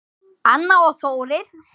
Anna og Þórir.